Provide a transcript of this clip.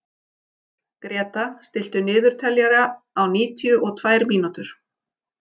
Gréta, stilltu niðurteljara á níutíu og tvær mínútur.